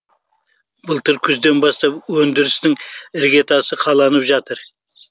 былтыр күзден бастап өндірістің іргетасы қаланып жатыр